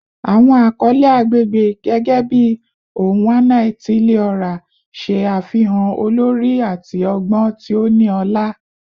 Awọn akọle agbegbe, gẹgẹbi "Onwa-na-etili-ora," ṣe afihan olori ati ọgbọn ti o ni ọla.